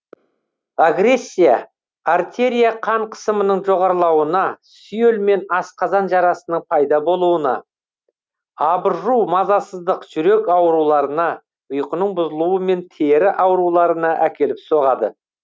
агрессия артерия қан қысымының жоғарылауына сүйел мен асқазан жарасының пайда болуына абыржу мазасыздық жүрек ауруларына ұйқының бұзылуы мен тері ауруларына әкеліп соғады